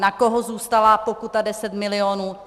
Na koho zůstala pokuta 10 milionů?